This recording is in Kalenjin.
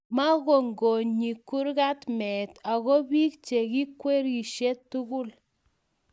maigonygonyi kurga meet ako biik cheikwerishe tugul